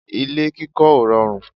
ilé kíkọ́ ò rọrùn